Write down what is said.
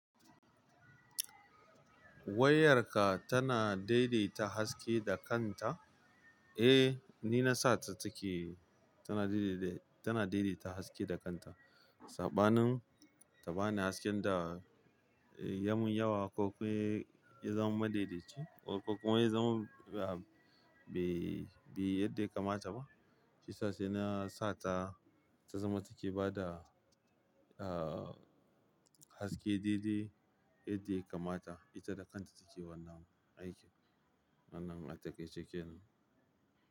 Wayarka tana daidaita haske da kanta? Eh, ni na sa ta take tana daidaita, tana daidaita haske da kanta. Saɓanin ta bani hasken da yamun yawa ko kuma ya zama ma daidaici ko kuma ya zama, ah, bai, bai yadda ya kamata ba. Shiyasa sai na sata, ta zama take bada, ah, haske daidai yadda ya kamata ita da kanta take wannan aikin, wannan atakaice kenan.